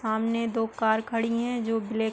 सामने दो कार खड़ी हैं जो ब्लैक --